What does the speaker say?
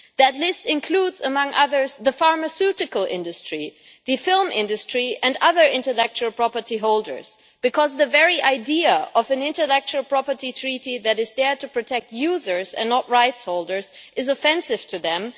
That list includes, among others, the pharmaceutical industry, the film industry and other intellectual property holders because the very idea of an intellectual property treaty that is there to protect users and not rights holders is offensive to them.